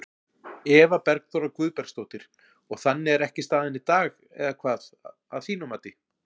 Eva Bergþóra Guðbergsdóttir: Og þannig er ekki staðan í dag eða hvað, að þínu mati?